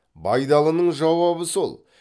байдалының жауабы сол